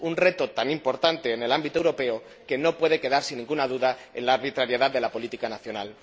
Un reto tan importante en el ámbito europeo que no puede quedar, sin ninguna duda, en la arbitrariedad de la política nacional.